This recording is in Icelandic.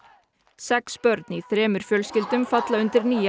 sex börn í þremur fjölskyldum falla undir nýja